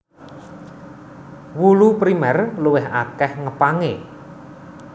Wulu Primèr luwih akèh ngepangé